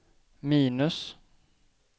minus